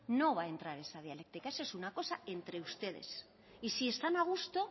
no va a entrar en esa dialéctica eso es una cosa entre ustedes y si están a gusto